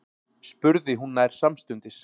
spurði hún nær samstundis.